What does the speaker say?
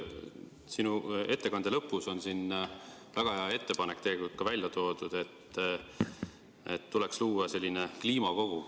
Sinu ettekande lõpus on tegelikult ka väga hea ettepanek välja toodud, et tuleks luua kliimakogu.